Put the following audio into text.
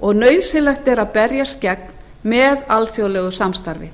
og nauðsynlegt er að berjast gegn með alþjóðlegu samstarfi